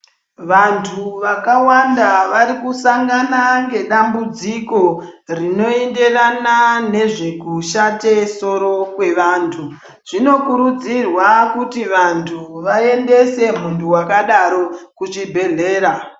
Vantu vakawanda vari kusangana nedambudziko rinoenderana nezvekushate soro kwevantu zvinokurudzirwa kuti vantu vaendesa muntu akadaro kuzvibhedhlera.